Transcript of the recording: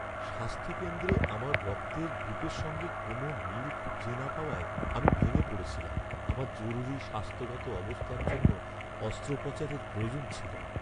স্বাস্থ্যকেন্দ্রে আমার রক্তের গ্রুপের সঙ্গে কোনও মিল খুঁজে না পাওয়ায় আমি ভেঙে পড়েছিলাম। আমার জরুরি স্বাস্থ্যগত অবস্থার জন্য অস্ত্রোপচারের প্রয়োজন ছিল।